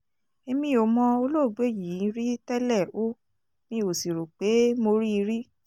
èmi ò mọ olóògbé yìí rí tẹ́lẹ̀ ó mì ò sì rò pé mo rí i rí